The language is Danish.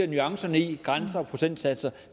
nuancerne i grænser og procentsatser